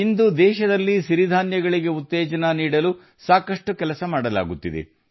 ಇಂದು ದೇಶದಲ್ಲಿ ಸಿರಿಧಾನ್ಯಗಳನ್ನು ಉತ್ತೇಜಿಸಲು ಸಾಕಷ್ಟು ಕೆಲಸ ಮಾಡಲಾಗುತ್ತಿದೆ